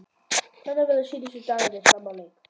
Hvernig verða síðustu dagarnir fram að leik?